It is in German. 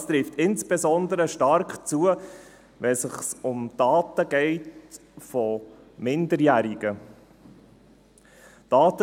Das trifft insbesondere stark zu, wenn es sich um Daten von Minderjährigen handelt.